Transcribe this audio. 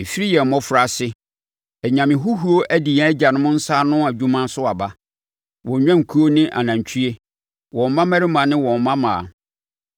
Ɛfiri yɛn mmɔfraase, anyame huhuo adi yɛn agyanom nsa ano adwuma so aba, wɔn nnwankuo ne anantwie, wɔn mmammarima ne wɔn mmammaa.